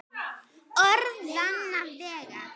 Orðanna vegna.